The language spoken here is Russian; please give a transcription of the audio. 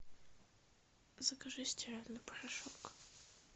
закажи стиральный порошок